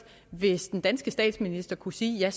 hvis den danske statsminister kunne sige at